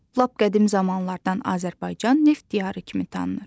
Lap qədim zamanlardan Azərbaycan neft diyarı kimi tanınır.